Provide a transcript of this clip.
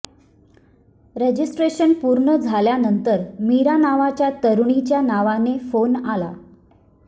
registration पूर्ण झाल्यानंतर मीरा नावाच्या तरुणीच्या नावाने फोन आला